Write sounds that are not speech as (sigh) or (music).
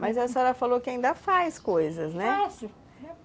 Mas a senhora falou que ainda faz coisas, né? Faço (unintelligible)